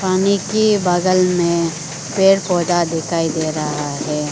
पानी के बगल में पेड़ पौधा दिखाई दे रहा है।